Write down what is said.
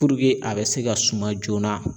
Puruke a be se ka suma joona